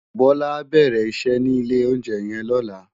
Bola á bèrè iṣè ni ilé óunjè yèn lòlá